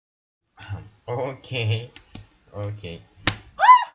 окей окей